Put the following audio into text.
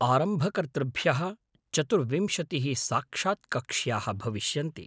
आरम्भकर्तृभ्यः चतुर्विंशतिः साक्षात् कक्ष्याः भविष्यन्ति।